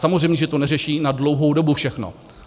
Samozřejmě, že to neřeší na dlouhou dobu všechno.